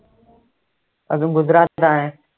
अजून गुजरातचा आहे